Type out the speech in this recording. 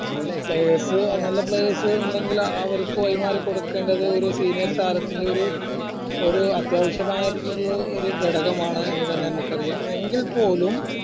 players നല്ല players ഉണ്ടെങ്കിൽ അവർക്ക് വഴിമാറികൊടുക്കേണ്ടത് ഒരു senior താരത്തിന്റെ ഒരു ഒരു അത്യാവശ്യമായ ഒര് ഒരു ഘടകമാണെന്ന് തന്നെ നമുക്ക് അറിയാം എങ്കിൽപ്പോലും